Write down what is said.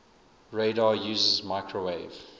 radar uses microwave